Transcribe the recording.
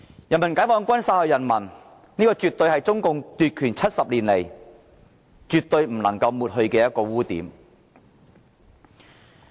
人民解放軍殺害人民，絕對是中共奪取政權70年來不能抹去的污點。